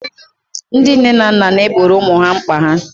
ndị nne na nna na-egboro ụmụ ha mkpa ha